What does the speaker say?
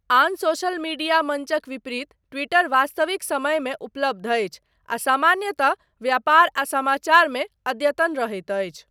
आन social media मञ्चक विपरीत ट्विटर वास्तविक समयमे उपलब्ध अछि आ सामान्यतः व्यापार आ समाचार मे अद्यतन रहैत अछि।